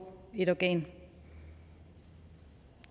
et organ